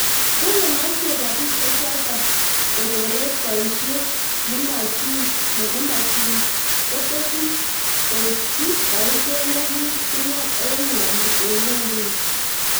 kole machei robisheeto kororet boishet nemotunkoteshin koichi boisheet neki kimwa eng ngwonduni